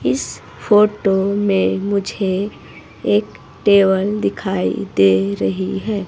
इस फोटो में मुझे एक टेबल दिखाई दे रही है।